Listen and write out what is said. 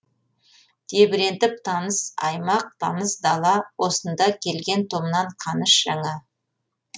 тебірентіп таныс аймақ таныс дала осында келген томнан қаныш жаңа